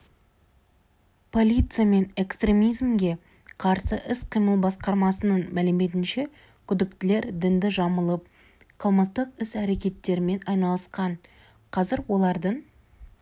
полиция мен экстремизмге қарсы іс-қимыл басқармасының мәліметінше күдіктілер дінді жамылып қылмыстық іс-әрекеттермен айналысқан қазір олардың